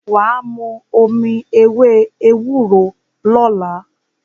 Wà á mu omi ewé ewúro lọ́la.